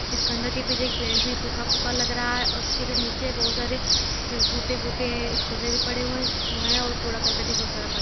इस खंडर के पीछे एक पेड़ भी सूखा फुका लग रहा है और उसके नीचे बहुत सारे टूटे फूटे ए खुरे भी पड़े हुए हैं और कूड़ा कर्कट बहुत सारा पड़ा --